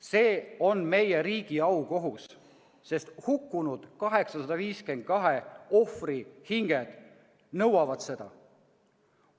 See on meie riigi aukohus, sest hukkunud 852 ohvri hinged nõuavad seda.